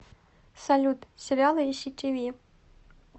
салют сериалы и си ти ви